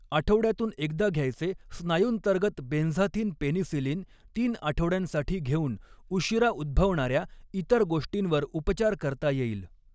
आठवड्यातून एकदा घ्यायचे स्नायूंतर्गत बेन्झाथिन पेनिसिलिन तीन आठवड्यांसाठी घेऊन, उशिरा उद्भवणाऱ्या इतर गोष्टींवर उपचार करता येईल.